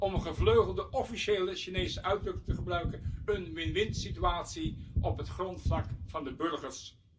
Om een gevleugelde officiële Chinese uitdrukking te gebruiken een win winsituatie op het grondvlak van de burgers!